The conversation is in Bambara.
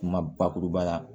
Kuma bakuruba la